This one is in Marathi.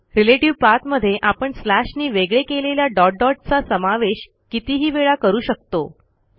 रिलेटिव्ह पाठ मध्ये आपण स्लॅशनी वेगळे केलेल्या डॉट डॉट चा समावेश कितीही वेळा करू शकतो